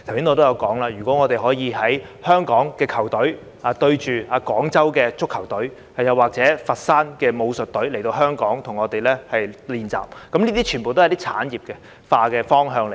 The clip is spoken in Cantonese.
我剛才也提到，香港的足球隊與廣州的足球隊對賽，或是佛山武術隊來港與我們練習，這些全部都是產業化的方向。